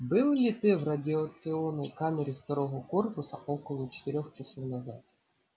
был ли ты в радиационной камере второго корпуса около четырёх часов назад